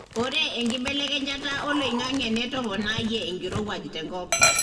ore enkibelekenyata oloingange netoponayie enkirowuaj tenkop.